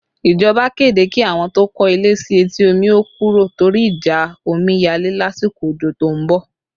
Ìjọba kéde kí àwọn tó kọ́ ilé sí etí omi ó kúrò torí ìjà omiyale lásìkò ojo tó ń bọ̀